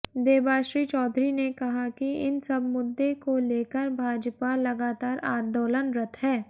देबाश्री चौधरी ने कहा कि इन सब मुद्दे को लेकर भाजपा लगातार आंदोलनरत है